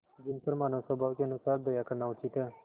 जिन पर मानवस्वभाव के अनुसार दया करना उचित है